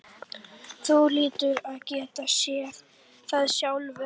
Þú hlýtur að geta séð það sjálfur.